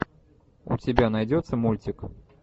у тебя найдется мультик